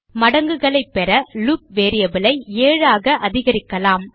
மடங்குகளைப் பெற loop variable ஐ 7 ஆக அதிகரிக்கலாம்